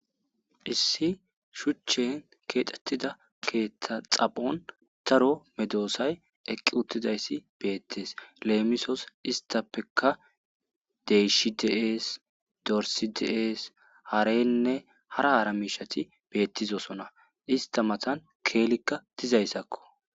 Issi shuchan keexetida keetha xaphon daro medosay eqi uttidays beetes lemisos deyshi dees dorsi dees hareynne hara hara medosay dees ista matan keelayka dees.